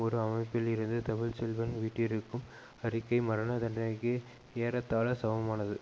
ஒரு அமைப்பிலிருந்து தமிழ் செல்வன் விட்டிருக்கும் அறிக்கை மரண தண்டனைக்கு ஏறத்தாழ சமமானது